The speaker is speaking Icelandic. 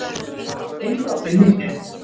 Innrásin mikla.